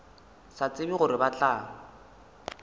sa tsebe gore ba tla